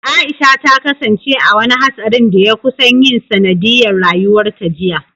Aisha ta kasance a wani hatsarin da ya kusan yin sanadiyyar rayuwarta jiya.